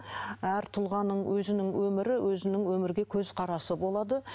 әр тұлғаның өзінің өмірі өзінің өмірге көзқарасы болады